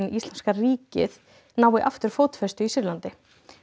íslamska ríkið nái aftur fótfestu í Sýrlandi